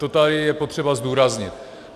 To tady je potřeba zdůraznit.